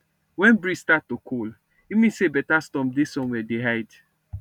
when breeze start to cold e mean say better storm dey somewhere dey hide